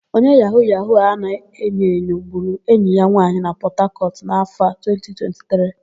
Onye yahu-yahu a na-enyoenyo gburu enyi ya nwaanyì na Pọtakọtụ n'áfọ̀ a, 2023.